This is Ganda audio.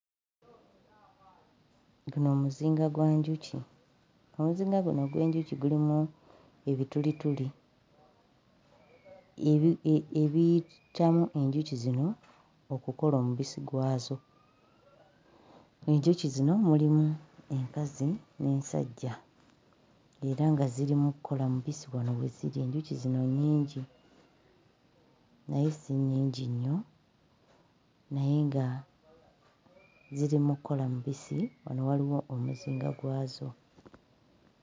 Guno muzinga gwa njuki. Omuzinga guno ogw'enjuki gulimu ebitulituli ebi ebiyitamu enjuki zino okukola omubisi gwazo. Enjuki zino mulimu enkazi n'ensajja era nga ziri mu kukola mubisi wano we ziri. Enjuki zino nnyingi naye si nnyingi nnyo naye nga ziri mu kukola mubisi. Wano waliwo omuzinga gwazo.